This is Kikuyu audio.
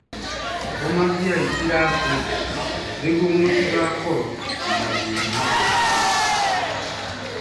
Rũmagiai iraatũ njega nĩguo mũtigakorũo na mathĩna magũrũ-inĩ.